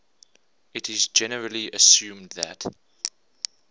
it is generally assumed that